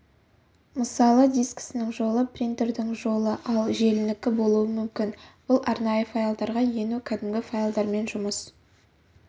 мысалы дискісінің жолы принтердің жолы ал желінікі болуы мүмкін бұл арнайы файлдарға ену кәдімгі файлдармен жұмыс